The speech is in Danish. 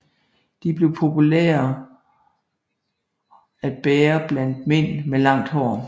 De blev populære at bære blandt mænd med langt hår